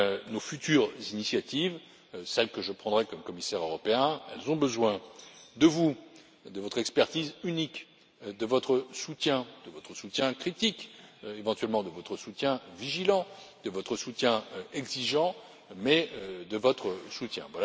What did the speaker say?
Nos futures initiatives, celles que je prendrai comme commissaire européen, ont besoin de vous, de votre expertise unique, de votre soutien, de votre soutien critique, éventuellement de votre soutien vigilant, de votre soutien exigeant, mais de votre soutien.